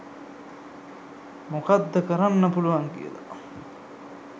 මොකද්ද කරන්න පුළුවන් කියල